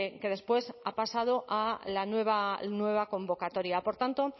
que después ha pasado a la nueva convocatoria por tanto